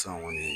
San kɔni